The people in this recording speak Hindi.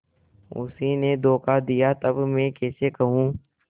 उसी ने धोखा दिया तब मैं कैसे कहूँ